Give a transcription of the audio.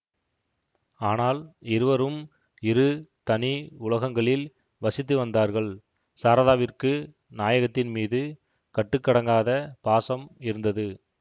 ஆனால் இருவரும் இரு தனி உலகங்களில் வசித்து வந்தார்கள் சாரதாவிற்கு நாயகத்தின்மீது கட்டுக்கடங்காத பாசம் இருந்தது